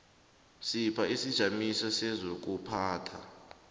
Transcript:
sipha isijamiso sezokuphatha